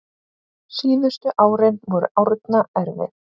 Síðustu árin voru Árna erfið.